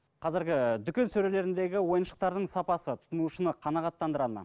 қазіргі дүкен сөрелеріндегі ойыншықтардың сапасы тұтынушыны қанағаттандыра ма